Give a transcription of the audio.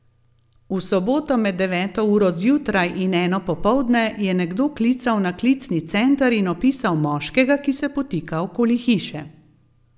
V soboto med deveto uro zjutraj in eno popoldne je nekdo klical na klicni center in opisal moškega, ki se potika okoli hiše.